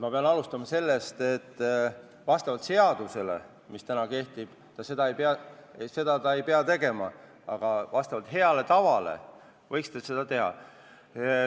Ma pean alustama sellest, et vastavalt seadusele, mis täna kehtib, ta ei pea seda tegema, aga vastavalt heale tavale võiks teha.